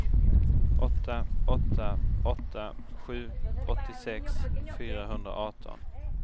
åtta åtta åtta sju åttiosex fyrahundraarton